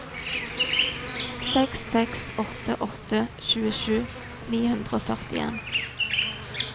seks seks åtte åtte tjuesju ni hundre og førtien